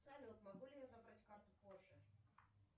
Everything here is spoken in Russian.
салют могу ли я забрать карту позже